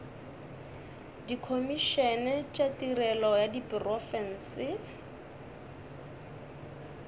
dikhomišene tša tirelo ya diprofense